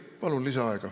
Palun lisaaega.